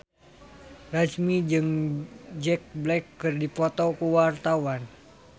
Ramzy jeung Jack Black keur dipoto ku wartawan